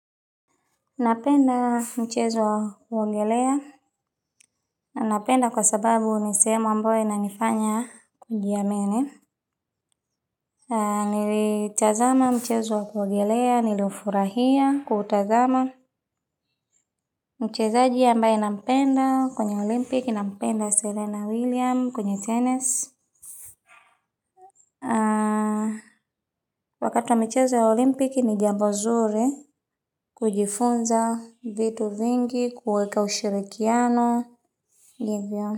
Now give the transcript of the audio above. Napenda mchezo wa kuogelea. Napenda kwa sababu ni sehemu ambayo inanifanya kujiamini. Nilitazama mchezo wa kuogelea, niliufurahia, kuutazama. Mchezaji ambaye nampenda kwenye olimpiki. Nampenda Serena Williams kwenye tennis. Wakati wa michezo ya olimpiki, ni jambo zuri kujifunza vitu vingi, kuweka ushirikiano, hivyo.